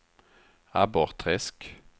Abborrträsk